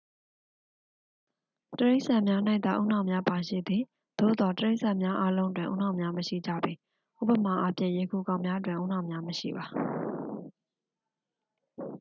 တိရစ္ဆာန်များ၌သာ ဦးနှောက်များပါရှိသည်။ သို့သော် တိရစ္ဆာန်များအားလုံးတွင် ဦးနှောက်များ မရှိကြပေ။ ဥပမာအားဖြင့် ရေခူကောင်များတွင် ဦးနှောက်များမရှိပါ။